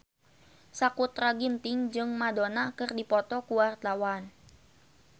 Sakutra Ginting jeung Madonna keur dipoto ku wartawan